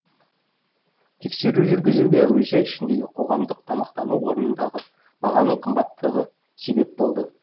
тексеру жүргізуге әуежай ішіндегі қоғамдық тамақтану орнындағы бағаның қымбаттығы себеп болды